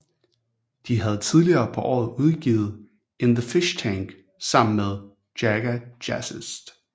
De havde tidligere på året udgivet In The Fishtank sammen med Jaga Jazzist